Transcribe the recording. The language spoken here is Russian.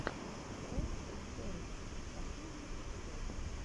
про сервис последний эпизод